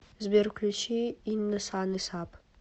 сбер включи инна сан из ап